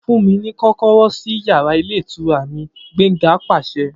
Fun mi ni kọkọrọ si yara ilé ìtura mi! Gbenga paṣẹ